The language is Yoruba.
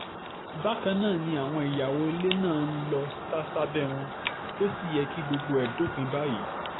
bákan náà ni àwọn ìyàwó ilé náà ń lọọ sá sábẹ́ wọn tó sì yẹ kí gbogbo ẹ̀ dópin báyìí